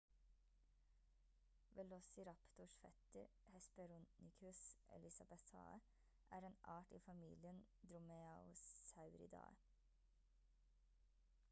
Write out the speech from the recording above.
velociraptors fetter hesperonychus elizabethae er en art i familien dromaeosauridae